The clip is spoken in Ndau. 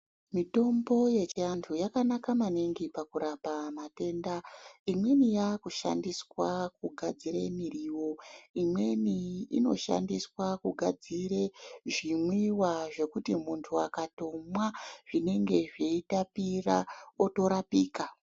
Mitombo yechiantu yakanaka maningi pakurapa matenda. Imweni yaakushandiswa kugadzire miriwo. Imweni inoshandiswa kugadzire zvimwiwa zvekuti muntu akatomwa zvinenge zveitapira, otorapika.